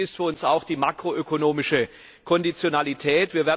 Wichtig ist für uns auch die makroökonomische Konditionalität.